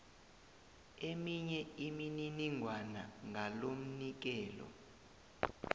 eminye imininingwana ngalomnikelo